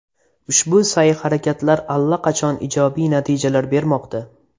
Ushbu sa’y-harakatlar allaqachon ijobiy natijalar bermoqda.